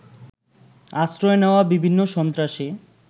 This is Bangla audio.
আশ্রয় নেওয়া বিভিন্ন সন্ত্রাসী